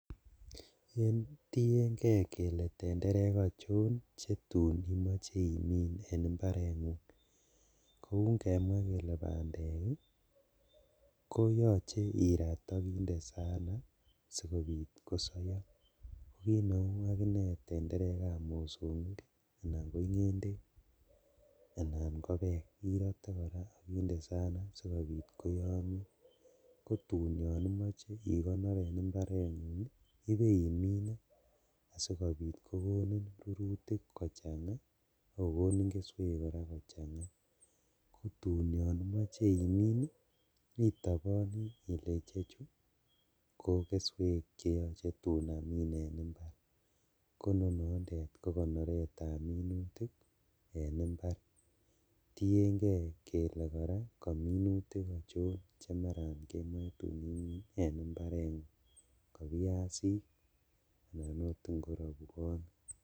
Tiengee kele tenderek ochon chetun imoche imin en imbarengung, kou ingemwaa kele bandek ii koyoche irat ak inde saana sikobit kosouo, kineu akine tenderekab mosongik anan ko ingendek anan kobek irote koraa ok inde saana sikobit koyomio, kotun yon imoche ikonor en imbarengung ibeimine asikobit kokonin rurutik kochanga akokoni keswek koraa kochanga tun yon imoche imin ii itoboni ile ichechu kokeswek cheoche tun amin en imbar kononondo kokonoretab minutik en imbar, tiengee kele koraa kominutik ochon chemaran kemoe tun imin en imbarengung ngo viazik anan oot korobwonik.